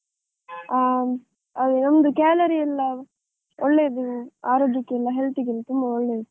ಹಾ, ನಮ್ದು calorie ಎಲ್ಲಾ ಒಳ್ಳೇದು, ಆರೋಗ್ಯಕ್ಕೆಲ್ಲ health ಗೆಲ್ಲಾ ತುಂಬಾ ಒಳ್ಳೇದು.